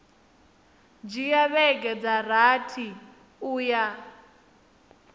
dzhia vhege dza rathi uya